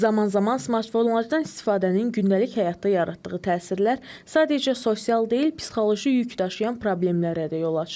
Zaman-zaman smartfonlardan istifadənin gündəlik həyatda yaratdığı təsirlər sadəcə sosial deyil, psixoloji yük daşıyan problemlərə də yol açır.